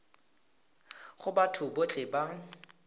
go batho botlhe ba ba